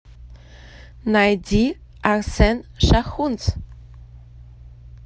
найди арсен шахунц